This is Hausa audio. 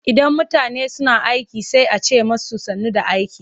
Idan mutane suna aiki sai a ce musu sannu da aiki.